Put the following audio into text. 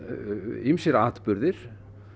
ýmsir atburðir